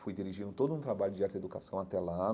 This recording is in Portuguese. Fui dirigindo todo um trabalho de arte e educação até lá.